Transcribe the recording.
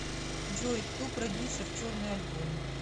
джой кто продюссер черный альбом